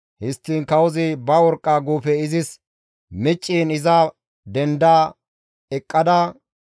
Histtiin kawozi ba worqqa guufe izis micciin iza denda eqqada,